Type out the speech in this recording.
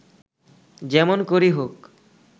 যেমন করেই হোক